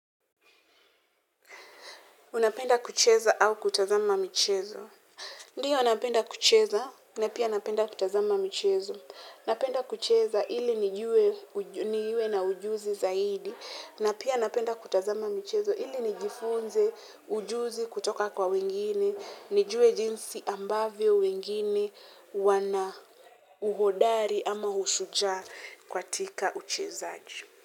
Unapenda kucheza au kutazama michezo. Ndio napenda kucheza na pia napenda kutazama michezo. Napenda kucheza ili niwe na ujuzi zaidi. Na pia napenda kutazama michezo ili nijifunze ujuzi kutoka kwa wengine. Nijue jinsi ambavyo wengine wana uhodari ama ushujaa katika uchezaji.